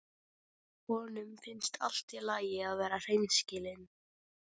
Honum finnst allt í lagi að vera hreinskilinn.